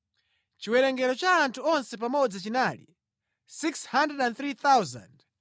Chiwerengero cha anthu onse pamodzi chinali 603,550.